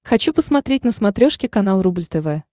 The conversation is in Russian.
хочу посмотреть на смотрешке канал рубль тв